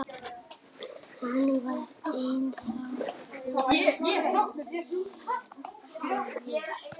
Hann var ennþá rúmlega hálfur.